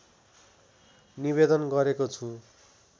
निवेदन गरेको छु